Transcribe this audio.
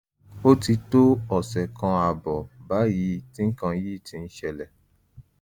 ó ti tó ọ̀sẹ̀ kan ààbọ̀ báyìí tí nǹkan yìí ti ń ṣẹlẹ̀